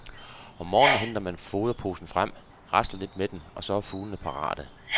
Om morgenen henter man foderposen frem, rasler lidt med den, og så er fuglene parate.